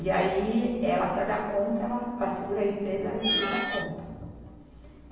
E aí, ela para dar conta, ela, para segurar a empresa, ela ia ter que dar conta.